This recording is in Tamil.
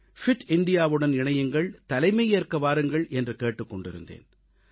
ஃபிட் இந்தியா வுடன் இணையுங்கள் தலைமையேற்க வாருங்கள் என்று கேட்டுக் கொண்டிருந்தேன்